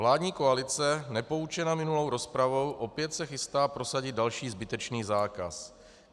Vládní koalice, nepoučena minulou rozpravou, se opět chystá prosadit další zbytečný zákaz.